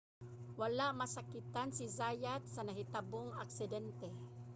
wala masakitan si zayat sa nahitabong aksidente